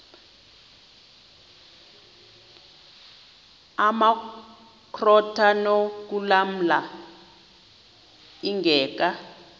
amakrot anokulamla ingeka